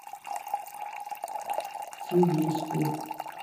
цивильску